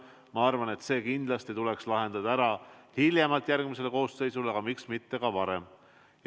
Ma arvan, et see kindlasti tuleks lahendada hiljemalt järgmises koosseisus, aga miks mitte ka varem.